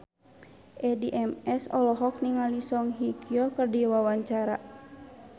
Addie MS olohok ningali Song Hye Kyo keur diwawancara